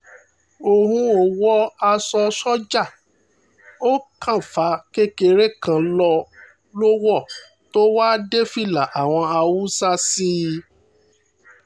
òun ò wọ aṣọ sójà ó kàfàǹ kékeré kan lọ wọ̀ tó wàá dé fìlà àwọn haúsá sí i